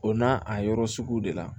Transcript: O n'a a yɔrɔ sugu de la